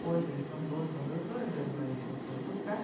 Hoje eles são donos de uma produtora, meu ex-marido voltou a tocar.